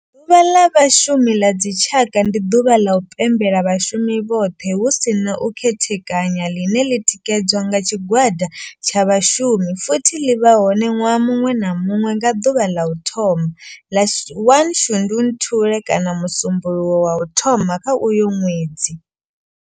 Ḓuvha ḽa Vhashumi ḽa dzi tshaka, ndi duvha ḽa u pembela vhashumi vhothe hu si na u khethekanya ḽine ḽi tikedzwa nga tshigwada tsha vhashumi futhi ḽi vha hone nwaha munwe na munwe nga duvha ḽa u thoma 1 ḽa Shundunthule kana musumbulowo wa u thoma kha uyo nwedzi.